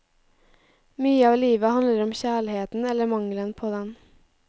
Mye av livet handler om kjærligheten eller mangelen på den.